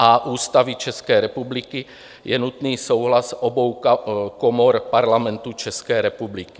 a) Ústavy České republiky, je nutný souhlas obou komor Parlamentu České republiky.